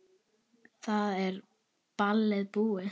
Þá er ballið búið.